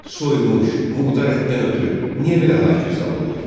Soyunmuş, murdar ətdən ötrü niyə belə ah-vaysalırlar?